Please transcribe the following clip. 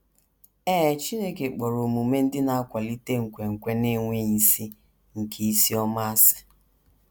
Ee, Chineke kpọrọ omume ndị na - akwalite nkwenkwe na - enweghị isi nke isi ọma, asị.